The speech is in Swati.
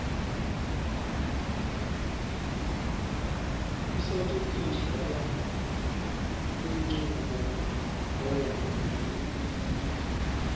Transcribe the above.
kusetjentiswa kwalenchubomgomo yelulwimi